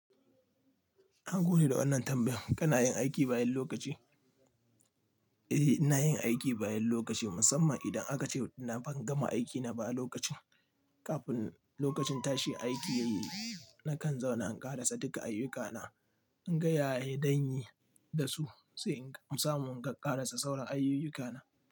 Na gode da wannan tambayan. Kana yin aiki bayan lokaci? Eh, ina yin aiki bayan lokaci, musamman idan aka ce na ban gama aiki na ba a lokacin. Kafin lokacin tashi aiki, nakan zauna in ƙarasa duka ayyukana. In gaya zanye da su sai in samu in ƙarasa sauran ayyukana.